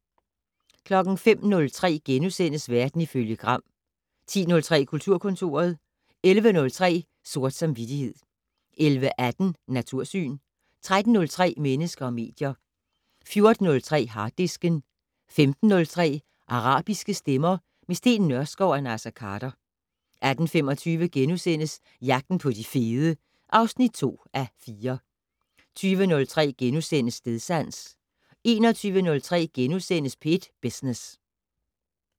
05:03: Verden ifølge Gram * 10:03: Kulturkontoret 11:03: Sort samvittighed 11:18: Natursyn 13:03: Mennesker og medier 14:03: Harddisken 15:03: Arabiske stemmer - med Steen Nørskov og Naser Khader 18:25: Jagten på de fede (2:4)* 20:03: Stedsans * 21:03: P1 Business *